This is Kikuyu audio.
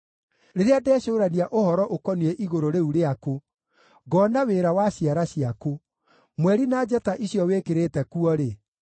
Rĩrĩa ndecũũrania ũhoro ũkoniĩ igũrũ rĩu rĩaku, ngoona wĩra wa ciara ciaku, mweri na njata icio wĩkĩrĩte kuo-rĩ,